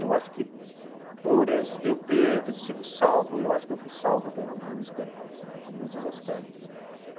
Eu acho que por esse eu ter sido salvo, eu acho que eu fui salvo pela música em muitos aspectos.